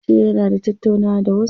Yace yana da tattaunawa da wasu.